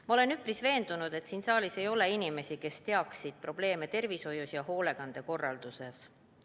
Ma olen üpris veendunud, et siin saalis ei ole inimesi, kes ei teaks probleeme tervishoiu ja hoolekande korralduses.